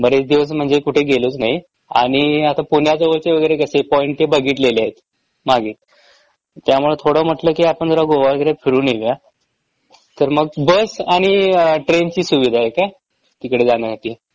बरेच दिवस म्हणजे कुठे गेलोच नाही आणि आता पुण्याजवळचे वगैरे कसे पॉईंट ते बघितलेले आहेत मागे त्यामुळं थोडं म्हटलं कि आपण जरा गोआ वगैरे फिरून येऊया. तर मग बस आणि अ ट्रेनची सुविधा आहे काय तिकडं जाण्यासाठी?